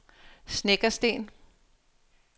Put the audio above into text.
Snekkersten